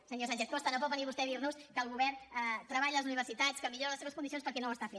senyor sánchez costa no pot venir vostè a dir nos que el govern treballa per les universitats que millora les seves condicions perquè no ho està fent